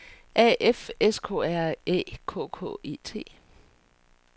A F S K R Æ K K E T